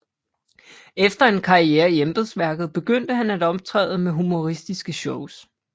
Efter en karriere i embedsværket begyndte han at optræde med humoristiske shows